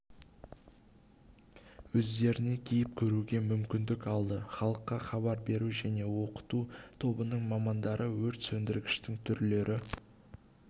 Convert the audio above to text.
өздеріне киіп көруге мүмкіндік алды халыққа хабар беру және оқыту тобының мамандары өрт сөндіргіштің түрлері